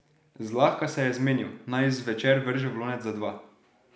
Zlahka se je zmenil, naj zvečer vrže v lonec za dva.